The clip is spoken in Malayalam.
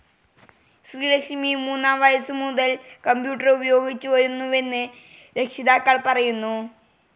ശ്രീലക്ഷ്മി മൂന്നാം വയസ്സുമുതൽ കമ്പ്യൂട്ടർ ഉപയോഗിച്ചിരുന്നുവെന്ന് രക്ഷിതാക്കൾ പറയുന്നു.